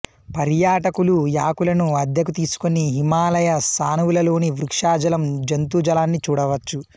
పర్యాటకులు యాకులను అద్దెకు తీసుకుని హిమాలయ సానువులలోని వృక్షజాలం జంతుజాలాన్ని చూడవచ్చు